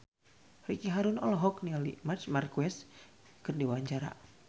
Ricky Harun olohok ningali Marc Marquez keur diwawancara